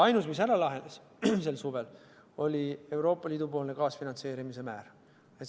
Ainus, mis sel suvel lahenes, oli Euroopa Liidu kaasfinantseerimise määr.